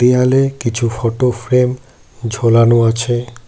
দেয়ালে কিছু photo frame ঝোলানো আছে।